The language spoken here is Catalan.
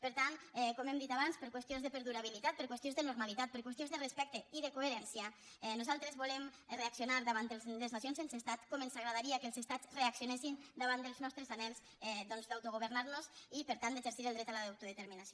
per tant com hem dit abans per qüestions de perdurabilitat per qüestions de normalitat per qüestions de respecte i de coherència nosaltres volem reaccionar davant de les nacions sense estat com ens agradaria que els estats reaccionessin davant dels nostres anhels d’autogovernar nos i per tant d’exercir el dret a l’auto determinació